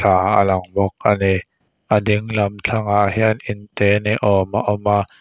pa alang bawk a ni a ding lam thlangah hian inte ni awm a awm a--